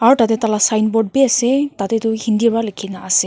aru tate tai lah sign board be ase tate tu hindi pra likhi na ase.